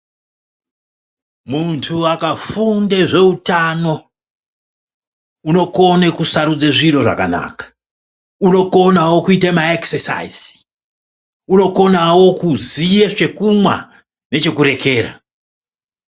Muntu akafunda zvetano unokona kusarudze zviro zvakanaka unokonawo kuite naekisesaizi unokonawo kuziva zvekumwa nechekurekera.